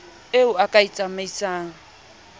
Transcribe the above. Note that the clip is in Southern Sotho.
eo o ka e tsamaisang